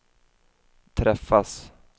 träffas